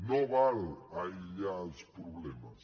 no val aïllar els problemes